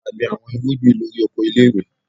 A gbin awọn irugbin lori oko ile-iwe